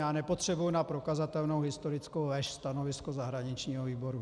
Já nepotřebuji na prokazatelnou historickou lež stanovisko zahraničního výboru.